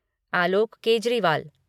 Alok Kejriwal